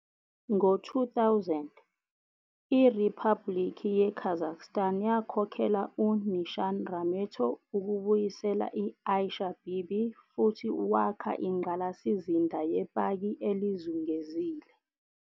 Ngo 2000, iRiphabhulikhi ye-Kazakhstan yakhokhela u-Nishan Rameto ukubuyisela i-Aisha Bibi futhu wakha ingqalasizinda yepaki elizungezile.